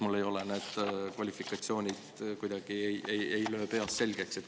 Mulle ei ole need kvalifikatsioonid, kuidagi ei löö peas selgeks.